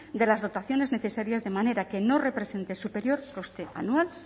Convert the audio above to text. de las dotaciones necesarias de manera que no representen superior coste anual